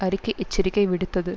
அறிக்கை எச்சரிக்கை விடுத்தது